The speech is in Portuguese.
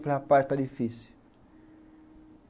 Eu falo, rapaz, está difícil.